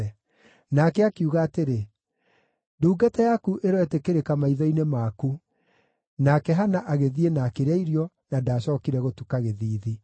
Nake akiuga atĩrĩ, “Ndungata yaku ĩroĩtĩkĩrĩka maitho-inĩ maku.” Nake Hana agĩthiĩ na akĩrĩa irio, na ndaacookire gũtuka gĩthiithi.